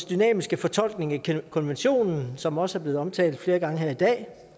dynamiske fortolkning af konventionen som også er blevet omtalt flere gange her i dag